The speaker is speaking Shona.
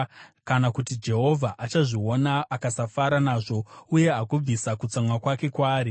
kana kuti Jehovha achazviona akasafara nazvo uye agobvisa kutsamwa kwake kwaari.